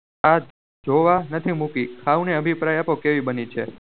આજોવા નથી મૂકી લ્હાવો ને અભિપ્રાય આપો કેવી બની છે